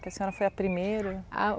Que a senhora foi a primeira? Ah o